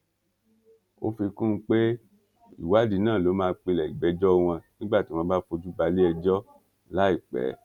ó fi kún un pé ìwádìí náà ló máa pilẹ ìgbẹjọ wọn nígbà tí wọn bá fojú balẹẹjọ láìpẹ